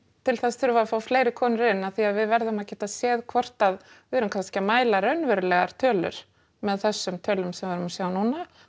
til þess þurfum við að fá fleiri konur inn af því að við verðum að geta séð hvort að við erum kannski að mæla raunverulegar tölur með þessum tölum sem við erum að sjá núna